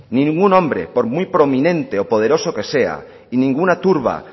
ningún hombre por muy prominente o poderoso que sea y ninguna turba